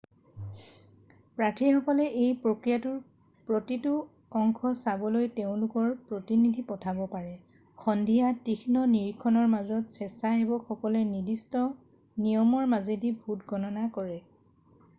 প্ৰাৰ্থীসকলে এই প্ৰক্ৰিয়াটোৰ প্ৰতিটো অংশ চাবলৈ তেওঁলোকৰ প্ৰতিনিধি পঠাব পাৰে সন্ধিয়া তীক্ষ্ণ নিৰীক্ষণৰ মাজত স্বেচ্ছাসেৱকলে নিৰ্দিষ্ট নিয়মৰ মাজেদি ভোট গণনা কৰে